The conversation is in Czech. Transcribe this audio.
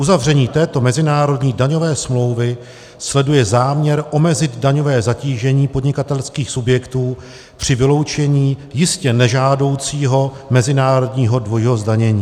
Uzavření této mezinárodní daňové smlouvy sleduje záměr omezit daňové zatížení podnikatelských subjektů při vyloučení jistě nežádoucího mezinárodního dvojího zdanění.